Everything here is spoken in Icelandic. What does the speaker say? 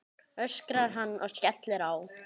öskrar hann og skellir á.